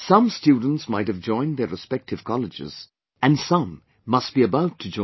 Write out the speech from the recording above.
Some students might have joined their respective colleges and some must be about to join